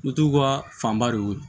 Butigiw ka fanba de ye o ye